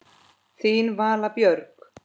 Þín Vala Björg.